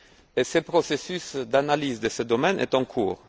Et ce processus d'analyse de ce domaine est en cours.